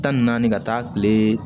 Tan ni naani ka taa kile